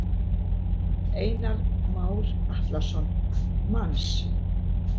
Einar Már Atlason: Manns?